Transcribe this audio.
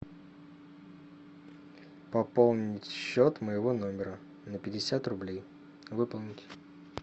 пополнить счет моего номера на пятьдесят рублей выполнить